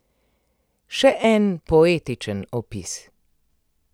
Še en poetičen opis.